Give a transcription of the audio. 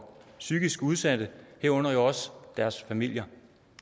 psykisk udsatte herunder jo også deres familier